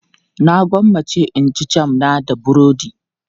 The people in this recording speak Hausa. Na gwammace in ci jam na da burodi.